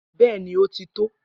Bẹẹni, o tí tó.